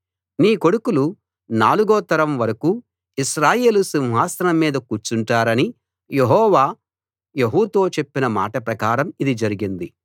నీ కొడుకులు నాలుగో తరం వరకూ ఇశ్రాయేలు సింహాసనం మీద కూర్చుంటారని యెహోవా యెహూతో చెప్పిన మాట ప్రకారం ఇది జరిగింది